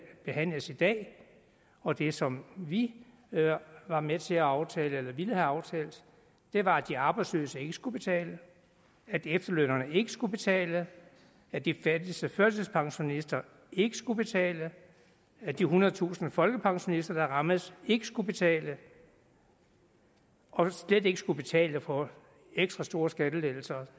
behandles i dag og det som vi var med til at aftale eller ville have aftalt var at de arbejdsløse ikke skulle betale at efterlønnerne ikke skulle betale at de fattigste førtidspensionister ikke skulle betale at de ethundredetusind folkepensionister der rammes ikke skulle betale og slet ikke skulle betale for ekstra store skattelettelser